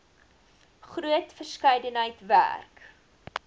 groot verskeidenheid werk